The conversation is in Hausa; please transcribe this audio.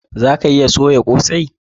Za a iya soya kosai?